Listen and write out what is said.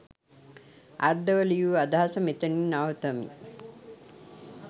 අර්ධව ලියු අදහස මෙතනින් නවතමි.